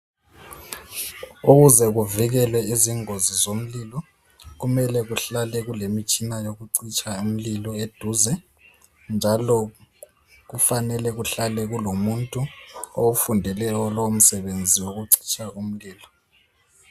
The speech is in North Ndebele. Ukuze kuvikele izingozi zomlilo, kumele kuhlale kulemitshina yokucitsha imlilo eduze, njalo kufanele kuhlale kulomuntu owufundeleyo lowo msebenzi wokucitsha umlilo.